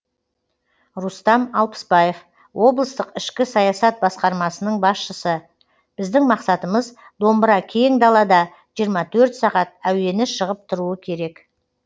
рустам алпысбаев облыстық ішкі саясат басқармасының басшысы біздің мақсатымыз домбыра кең далада жиырма төрт сағат әуені шығып тұруы керек